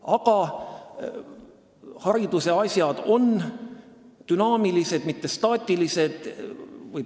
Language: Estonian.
Aga haridusasjad on dünaamilised, mitte staatilised.